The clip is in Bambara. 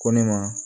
Ko ne ma